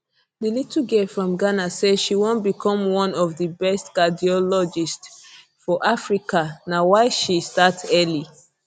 di little girl from ghana say she wan become one of di best cardiologists for africa na why she start early